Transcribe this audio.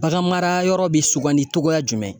Bagan mara yɔrɔ bɛ sugandi cogoya jumɛn.